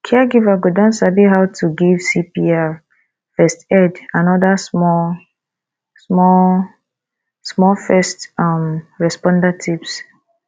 caregiver go don sabi how to give cpr first aid and oda small small small first um responder tips